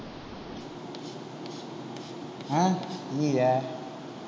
ஆஹ் அய்யியே